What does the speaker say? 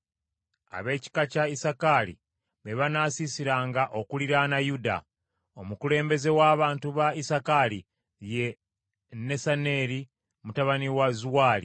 Ab’ekika kya Isakaali be banaasiisiranga okuliraana Yuda. Omukulembeze w’abantu ba Isakaali ye Nesaneri mutabani wa Zuwaali.